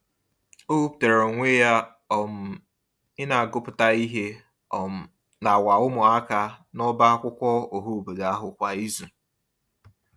O wepụtara onwe ya um ị na-agụpụta ihe um n’awa ụmụaka n'ọbá akwụkwọ ọhaobodo ahụ kwa izu.